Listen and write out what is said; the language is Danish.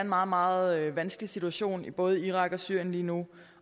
meget meget vanskelig situation i både irak og syrien lige nu